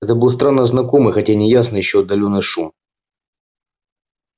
это был странно знакомый хотя и неясный ещё отдалённый шум